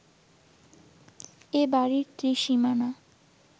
এ বাড়ির ত্রিসীমানা